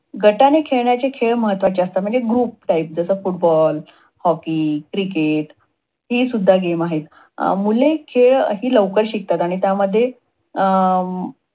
अं गटाने खेळणारे खेळ महत्वाचे असतात हि सुद्धा आहेत म्हणजे group type, football, hockey, cricket हि सुद्धा game आहेत. मुले खेळ हि लवकर शिकतात आणि त्यामध्ये